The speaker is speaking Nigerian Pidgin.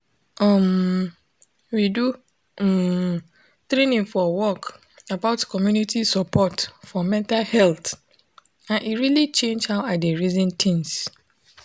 um we do um training for work about community support for mental health and e really change how i dey reason things